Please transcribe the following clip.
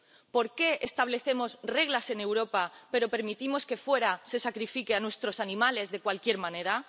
¿Por qué establecemos reglas en Europa pero permitimos que fuera se sacrifique a nuestros animales de cualquier manera?